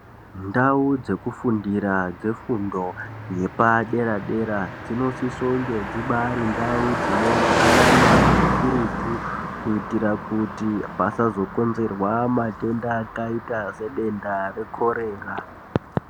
Ndau dzeku fundira dze fundo yepa dera dera dzino sise kunge dzibairi ndau dzine utsanana hukurutu kuitira kuti pasazo konzerwa matenda akaita se denda re korera.